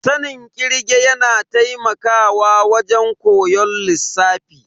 Sanin kirge yana taimakawa a wajen koyon lissafi.